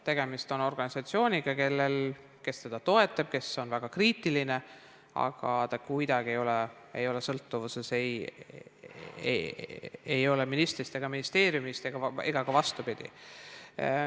Tegemist on organisatsiooniga, keda osa toetavad, osa on väga kriitilised, aga ta kuidagi ei ole sõltuvuses ministrist ega ministeeriumist ega ka vastupidi.